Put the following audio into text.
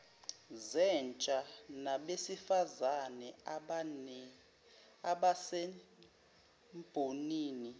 zentsha nabesifazane abasembonini